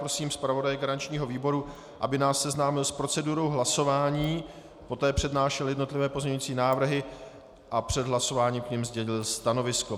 Prosím zpravodaje garančního výboru, aby nás seznámil s procedurou hlasování, poté přednášel jednotlivé pozměňovací návrhy a před hlasováním k nim zmínil stanovisko.